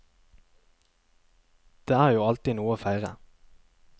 Det er jo alltid noe å feire.